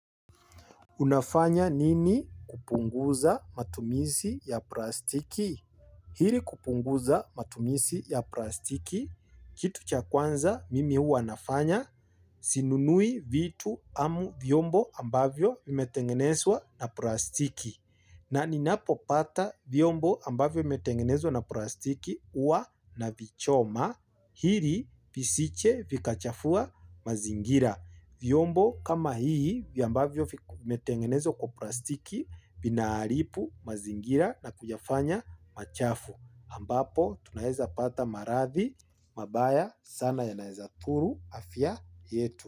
Unafanya nini kupunguza matumisi ya plastiki? Hili kupunguza matumizi ya plastiki, kitu cha kwanza mimi huwa nafanya sinunui vitu amu vyombo ambavyo vimetengenezwa na plastiki na ninapopata vyombo ambavyo vimetengenezwa na plastiki huwa navichoma. Hili visije vikachafua mazingira. Vyombo kama hii, ambavyo vimetengenezwa kwa plastiki, vinaharibu, mazingira na kuyafanya machafu. Ambapo, tunaeza pata marathi, mabaya sana yanaeza dhuru, afya yetu.